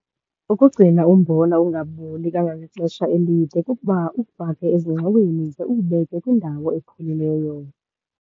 Ukugcina umbona ungaboli kangangexesha elide kukuba uwufake ezingxoweni, ze uwubeke kwindawo epholileyo.